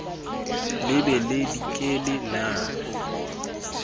le be le dikele na